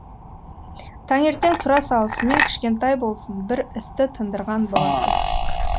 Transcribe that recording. таңертең тұра салысымен кішкентай болсын бір істі тындырған боласыз